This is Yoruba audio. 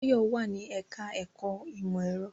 Báyọ̀ wà ní ẹ̀ká ẹ̀kọ́ ìmọ̀ ẹ̀rọ